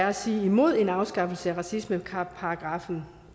at sige imod en afskaffelse af racismeparagraffen